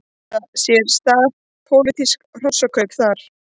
Áttu sér stað pólitísk hrossakaup þar?